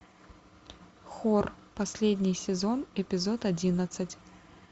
хор последний сезон эпизод одиннадцать